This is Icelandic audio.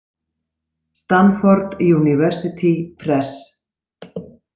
Stanford University Press.